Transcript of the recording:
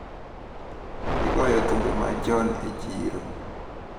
Igoyo thumbe machon e chiro.